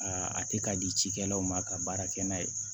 a tɛ ka di cikɛlaw ma ka baara kɛ n'a ye